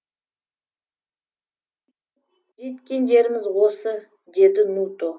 жеткен жеріміз осы деді нуто